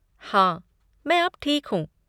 हाँ, मैं अब ठीक हूँ।